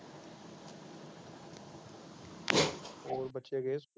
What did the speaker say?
ਹੋਰ ਬੱਚੇ ਗਏ ਸਕੂਲ।